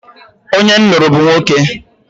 Onye m lụrụ bụ nwoke.